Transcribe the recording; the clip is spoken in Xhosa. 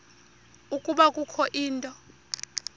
ukuba kukho into